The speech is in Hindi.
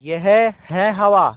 यह है हवा